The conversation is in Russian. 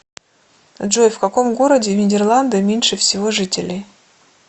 джой в каком городе в нидерланды меньше всего жителей